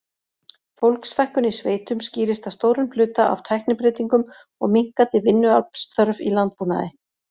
Fólksfækkun í sveitum skýrist að stórum hluta af tæknibreytingum og minnkandi vinnuaflsþörf í landbúnaði.